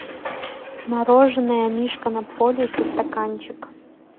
мороженое мишка на полюсе стаканчик